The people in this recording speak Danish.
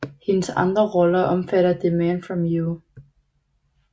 Hendes andre roller omfatter The Man from U